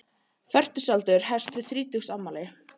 Fertugsaldur hefst við þrítugsafmæli.